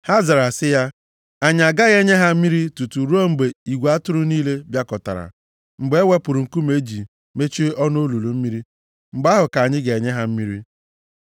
Ha zara sị ya, “Anyị agaghị enye ha mmiri tutu ruo mgbe igwe atụrụ niile bịakọtara, mgbe e wepụrụ nkume e ji mechie ọnụ olulu mmiri, mgbe ahụ ka anyị ga-enye ha mmiri.”